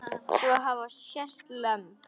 Svo hafa sést lömb.